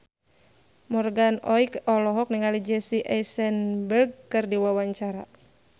Morgan Oey olohok ningali Jesse Eisenberg keur diwawancara